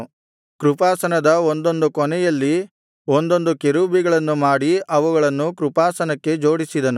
ಕೃಪಾಸನದ ಒಂದೊಂದು ಕೊನೆಯಲ್ಲಿ ಒಂದೊಂದು ಕೆರೂಬಿಗಳನ್ನು ಮಾಡಿ ಅವುಗಳನ್ನು ಕೃಪಾಸನಕ್ಕೆ ಜೋಡಿಸಿದನು